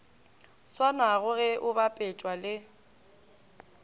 swanago ge o bapetšwa le